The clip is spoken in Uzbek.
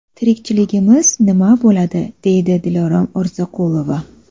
Tirikchiligimiz nima bo‘ladi?”, deydi Dilorom Orziqulova.